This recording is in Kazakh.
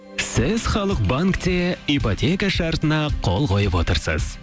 сіз халық банкте ипотека шартына қол қойып отырсыз